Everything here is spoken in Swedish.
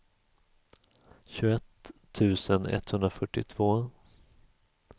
tjugoett tusen etthundrafyrtiotvå